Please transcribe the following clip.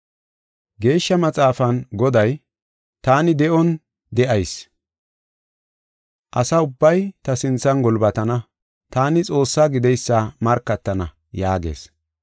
Geeshsha Maxaafan Goday, “Taani de7on de7ayis; asa ubbay ta sinthan gulbatana; taani Xoossaa gideysa markatana” yaagees.